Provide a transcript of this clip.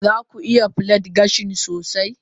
za ku iya plait gashi sosai?